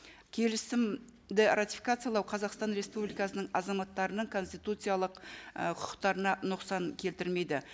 келісімді ратификациялау қазақстан республикасының азаматтарының конституциялық ы құқықтарына нұқсан келтірмейді